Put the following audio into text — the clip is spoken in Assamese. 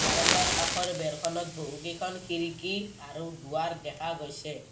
বাৰাণ্ডাৰ কাষৰ বেৰখনত বহুকেইখন খিৰিকী আৰু দুৱাৰ দেখা গৈছে।